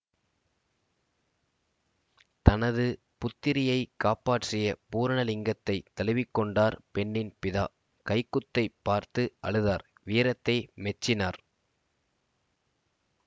தனது புத்திரியைக் காப்பாற்றிய பூர்ணலிங்கத்தைத் தழுவிக்கொண்டார் பெண்ணின் பிதா கைக்குத்தைப் பார்த்து அழுதார் வீரத்தை மெச்சினார்